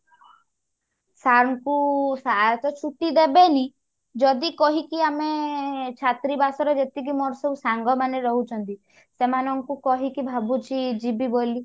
sir ଙ୍କୁ sir ତ ଛୁଟି ଦେବେନି ଯଦି କହିକି ଆମେ ଛାତ୍ରୀ ବାସ ରେ ଯେତିକି ମୋର ସବୁ ସାଙ୍ଗମାନେ ରହୁଛନ୍ତି ସେମାନଙ୍କୁ କହିକି ଭାବୁଛି ଯିବି ବୋଲି